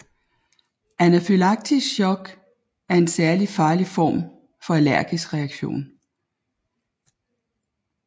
Anafylaktisk shock er en særlig farlig form for allergisk reaktion